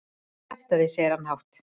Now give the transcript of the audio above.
Kjaftæði, segir hann hátt.